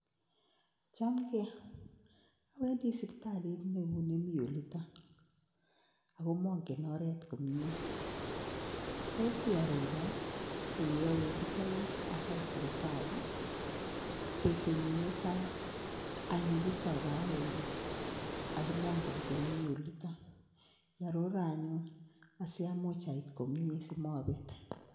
Chamgei. Awendi sipitalit neuni mi olitok, ak ko mang'en oret komye, tos iarora ole awetitai asait sipitali? Betut nyu ne tai anyo yutok raini, ako mang'en komye oliton, iarora anyun asiamuch ait komyen asimabet.